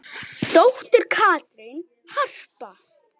Dóttir Katrín Harpa.